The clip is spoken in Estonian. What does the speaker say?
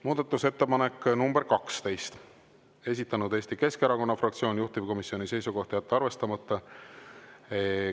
Muudatusettepanek nr 12, esitanud Eesti Keskerakonna fraktsioon, juhtivkomisjoni seisukoht on jätta arvestamata.